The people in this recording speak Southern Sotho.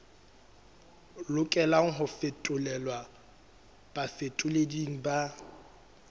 lokelang ho fetolelwa bafetoleding ba